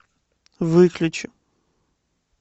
выключи